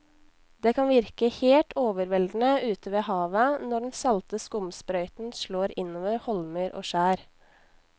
Det kan virke helt overveldende ute ved havet når den salte skumsprøyten slår innover holmer og skjær.